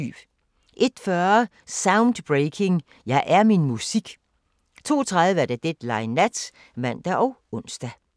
01:40: Soundbreaking – Jeg er min musik 02:30: Deadline Nat (man og ons)